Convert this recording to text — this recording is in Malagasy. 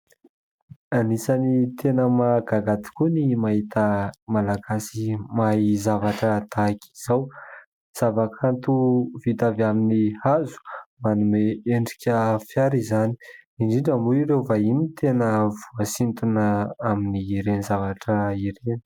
Anisan'ny tena mahagaga tokoa ny mahita malagasy mahay zavatra tahaka izao. Zavakanto vita avy amin'ny hazo manome endrika fiara izany indrindra moa ireo vahiny tena voasintona amin'ireny zavatra ireny.